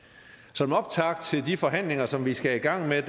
som optakt til de forhandlinger som vi skal i gang med